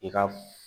I ka